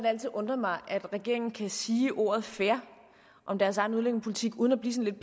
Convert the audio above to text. altid undret mig at regeringen kan sige ordet fair om deres egen udlændingepolitik uden at blive sådan